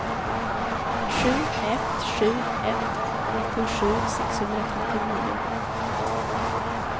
sju ett sju ett nittiosju sexhundratrettionio